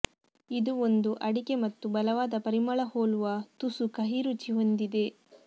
ಇದು ಒಂದು ಅಡಿಕೆ ಮತ್ತು ಬಲವಾದ ಪರಿಮಳ ಹೋಲುವ ತುಸು ಕಹಿ ರುಚಿ ಹೊಂದಿದೆ